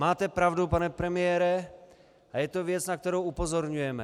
Máte pravdu, pane premiére, a je to věc, na kterou upozorňujeme.